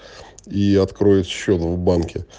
и откроет счёт в банке